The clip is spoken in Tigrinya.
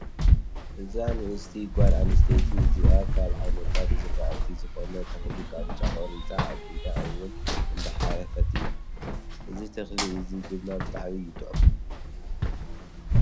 እዛ ንእስቲ ጓል ኣነስተይቲ እዚኣ ካብ ዓይነታት ዝራእቲ ዝኮነ ተክሊ ቃንጫ ኮሪፃ ኣብ ኢዳ እውን እንዳሓከየት እያ። እዚ ተክሊ እዚ ድማ ብጣዕሚ እዩ ጥዑም።